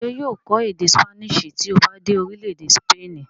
ṣé yóò kọ́ èdè ṣípánísì tí ó bá dé orílẹ̀-èdè sípènì?